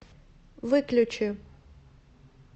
выключи